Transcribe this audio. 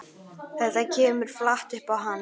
Þetta kemur flatt upp á hann.